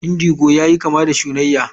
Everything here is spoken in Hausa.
Indigo yayi kama da shunayya.